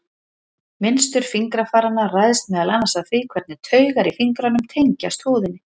Mynstur fingrafaranna ræðst meðal annars af því hvernig taugar í fingrunum tengjast húðinni.